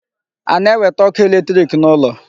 A na-ewete ọkụ electric n'ụlọ?